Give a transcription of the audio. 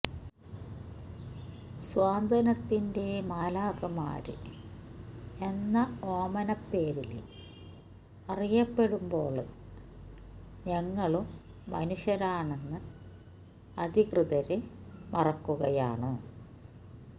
സ്വാന്തനത്തിന്റെ മാലാഖമാര് എന്ന ഓമനപ്പേരില് അറിയപ്പെടുമ്പോള് ഞങ്ങളും മനുഷ്യരാണെന്ന് അധികൃതര് മറക്കുകയാണ്